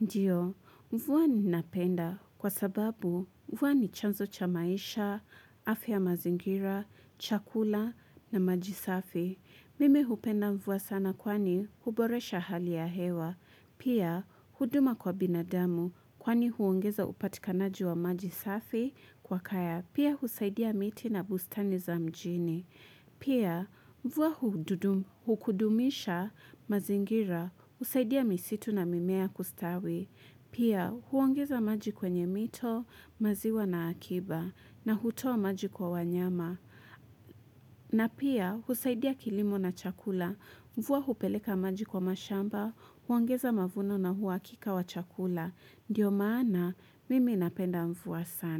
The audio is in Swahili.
Ndiyo, mvua ninapenda kwa sababu mvua ni chanzo cha maisha, afya ya mazingira, chakula na maji safi. Mimi hupenda mvua sana kwani huboresha hali ya hewa. Pia, huduma kwa binadamu kwani huongeza upatikanaji wa maji safi kwa kaya. Pia, husaidia miti na bustani za mjini. Pia mvua hukudumisha mazingira, husaidia misitu na mimea kustawi. Pia huongeza maji kwenye mito, maziwa na akiba na hutua maji kwa wanyama. Na pia husaidia kilimo na chakula mvua hupeleka maji kwa mashamba, huongeza mavuno na uhakika wa chakula. Ndiyo maana mimi napenda mvua sana.